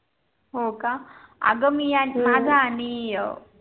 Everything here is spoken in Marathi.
हो का आग मी आणि माझा आणि